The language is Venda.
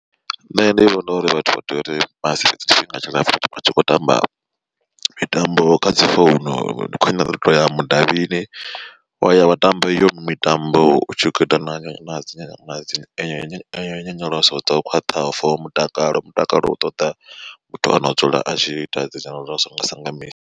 Nṋe ndi vhona uri vhathu vha tea uri vhasi fhedzese tshifhinga tshilapfu vhatshi kho tamba mitambo kha dzi founu ndi khwine uto ya mudavhini wa ya wa tamba iyo mitambo utshi kho ita na dzi nyonyoloso dzo khwaṱhaho for mutakalo, mutakalo u ṱoḓa muthu ano dzula a tshi ita dzi nyonyoloso nga sa nga misi.